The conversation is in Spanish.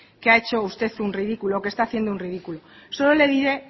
que ha hecho usted un ridículo que está haciendo un ridículo solo le diré